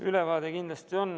Ülevaade kindlasti on.